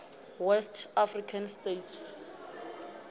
west african states